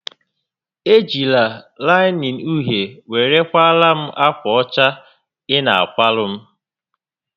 E jila laịnịn uhie were kwaara m ákwà ọcha ị na a kwara m